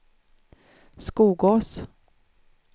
Skogås